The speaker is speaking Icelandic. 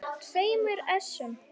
tveimur essum.